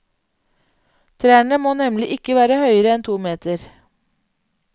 Trærne må nemlig ikke være høyere enn to meter.